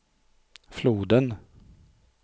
floden